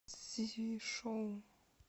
цзишоу